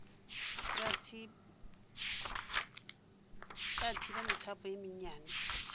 ya thiba methapo ye mennyane